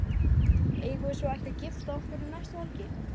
Eigum við svo ekki að gifta okkur um næstu helgi?